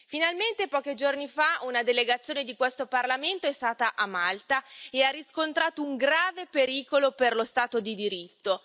Finalmente, pochi giorni fa, una delegazione di questo Parlamento è stata a Malta e ha riscontrato un grave pericolo per lo Stato di diritto.